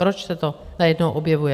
Proč se to najednou objevuje?